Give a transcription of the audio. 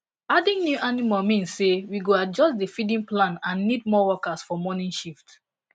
adding new animal mean say we go say we go adjust the feeding plan and need more workers for morning shift